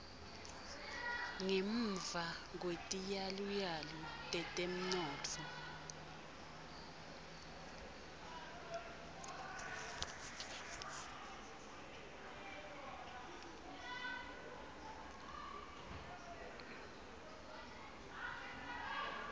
ngemuva kwetiyaluyalu tetemnotfo